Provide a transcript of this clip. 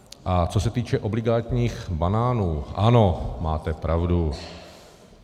A co se týče obligátních banánů, ano, máte pravdu.